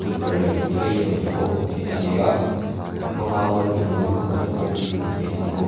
tukverh leh ventilation te pawh hmuh theih ani a bang a wall fan lo in vuah te pawh hi hmuh theih ani bawk.